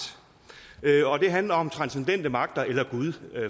og det handler om transcendente magter eller gud